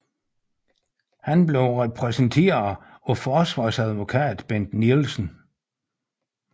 Han blev repræsenteret af forsvarsadvokat Bent Nielsen